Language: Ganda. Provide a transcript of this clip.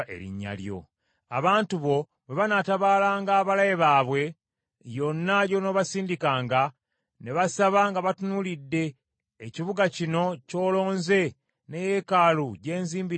“Abantu bo bwe banaatabaalanga abalabe baabwe, yonna gy’onoobasindikanga, ne basaba nga batunuulidde ekibuga kino ky’olonze ne yeekaalu gye nzimbidde Erinnya lyo,